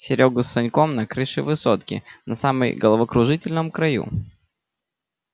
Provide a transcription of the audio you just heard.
серёгу с саньком на крыше высотки на самой головокружительном краю